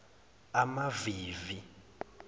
amavivi